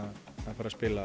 fara spila